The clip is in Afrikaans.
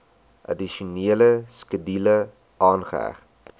addisionele skedule aangeheg